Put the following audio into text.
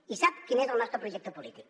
i sap quin és el nostre projecte polític